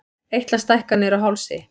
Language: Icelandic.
Eitlastækkanir á hálsi.